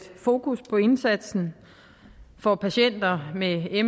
fokus på indsatsen for patienter med me